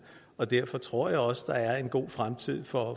derfor tror jeg også der er en god fremtid for